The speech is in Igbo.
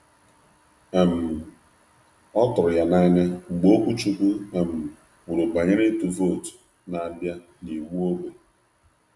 Ọ tụrụ ya n’anya mgbe okwuchukwu kwuru banyere ịtụ vootu na-abịa na iwu ógbè.